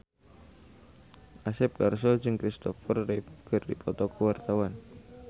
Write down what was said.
Asep Darso jeung Kristopher Reeve keur dipoto ku wartawan